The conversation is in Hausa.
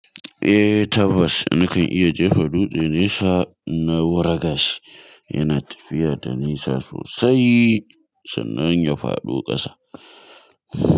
Eh tabbas, nakan iya jefa dutse nesa na wuragashi, yana tafiya da nisa sosai sannan ya faɗo kasa.